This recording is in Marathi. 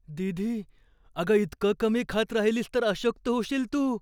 दीदी, अगं इतकं कमी खात राहिलीस तर अशक्त होशील तू.